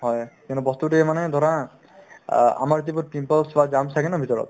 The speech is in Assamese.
হয়, কিন্তু বস্তুতোয়ে মানে ধৰা অ আমাৰ যিবোৰ pimples বা germs থাকে ন ভিতৰত